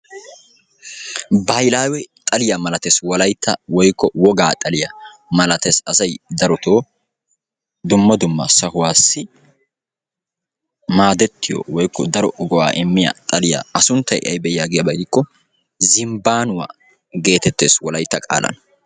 Baahilawe xaliya malatees wolayitta woyikko wogaa xaliya malatees. Asay darotoo dumma dumma sahuwaassi maadettiyo woyikko daro go'aa immiya xaliya. A sunttay aybe yaagiyaba gidiko zimbbanuwa geetettees wolayitta qaalan.